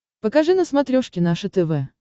покажи на смотрешке наше тв